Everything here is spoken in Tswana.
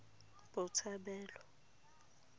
botshabelo